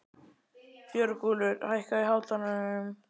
Björgúlfur, hækkaðu í hátalaranum.